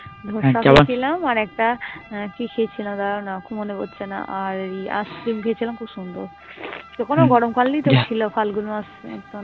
ধোসার খেয়েছিলাম আর একটা কি খেয়েছিলাম দাঁড়াও না খুব মনে পড়ছে না. আর এই ice cream খেয়েছিলাম খুব সুন্দর. তো কোন গরমকাল নেই তো ছিল ফাল্গুন মাস